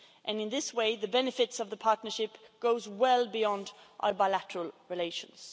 In this way, the benefits of the partnership go well beyond our bilateral relations.